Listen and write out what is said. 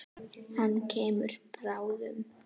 Hann kemur bráðum.